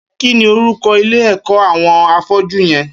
Kini órúkọ̀ ilé ẹkọ awọn áfọ̀jù yèn?